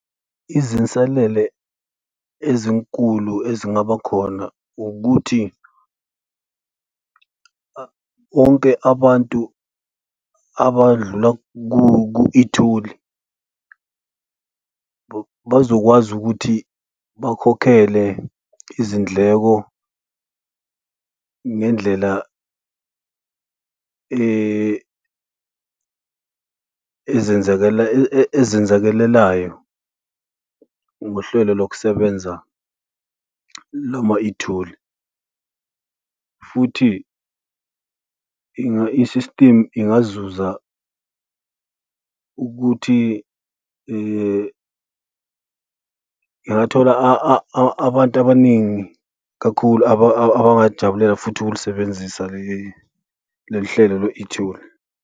Izinselele ezinkulu ezingaba khona ukuthi onke abantu abadlula ku-itholi bazokwazi ukuthi bakhokhele izindleko ngendlela ezenzakelelayo, ngohlelo lokusebenza lama itholi, futhi i-system ingazuza ukuthi ingathola abantu abaningi kakhulu abangalijabulela futhi ukulisebenzisa lolu hlelo lwe-itholi.